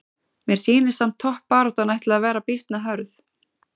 Mér sýnist samt toppbaráttan ætli að vera býsna hörð!